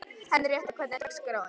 Henríetta, hvernig er dagskráin?